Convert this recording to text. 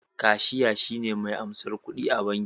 Kashiya shine me ansar kudi a banki